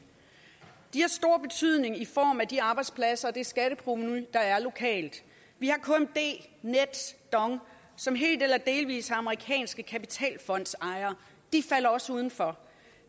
de har stor betydning i form af de arbejdspladser og det skatteprovenu der er lokalt vi har kmd nets og dong som helt eller delvis har amerikanske kapitalfondsejere de falder også udenfor